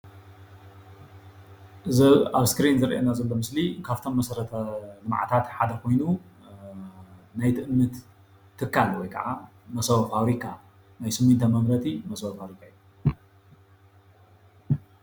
እዚ ኣብ እስክሪን ዝረአየና ዘሎ ምስሊ ካብቶም መሰርታዊ ልምዓታት ሓደ ኮይኑ ናይ ትእምት ትካል ወይ ከዓ መሰቦ ፋብሪካ ናይ ስሚንቶ መምረቲ መሰቦ ፋብሪካ እዩ፡፡